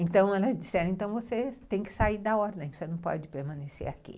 Então, elas disseram, você tem que sair da ordem, você não pode permanecer aqui.